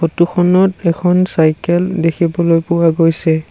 Photo খনত এখন cycle দেখিবলৈ পোৱা গৈছে।